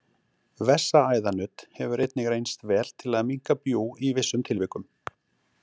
Vessaæðanudd hefur einnig reynst vel til að minnka bjúg í vissum tilvikum.